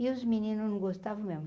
E os meninos não gostavam mesmo.